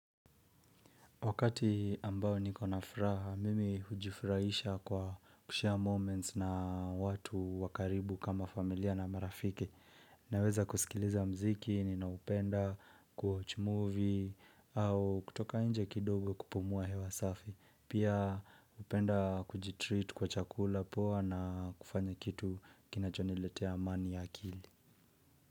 Wakati ambao niko na furaha, mimi hujifurahisha kwa kushare moments na watu wa karibu kama familia na marafiki. Naweza kusikiliza muziki, ninaupenda, kuwatch movie, au kutoka inje kidogo kupumua hewa safi. Pia upenda kujitreat kwa chakula poa na kufanya kitu kinachoniletea amani ya akili.